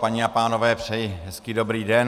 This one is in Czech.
Paní a pánové, přeji hezký dobrý den.